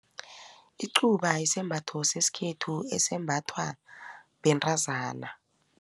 Icuba isembatho sesikhethu esembathwa bentazana.